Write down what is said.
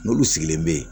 N'olu sigilen bɛ yen